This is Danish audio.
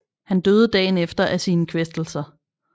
Han døde dagen efter af sine kvæstelser